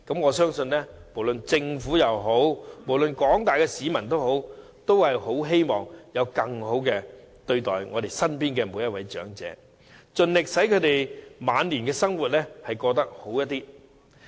我相信，不論是政府或廣大市民皆希望身邊長者獲得更好待遇，盡力使他們的晚年生活過得更好。